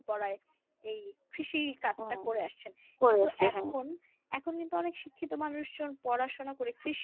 এখন কিন্তু অনেক শিক্ষিত মানুষজন পড়াশোনা করে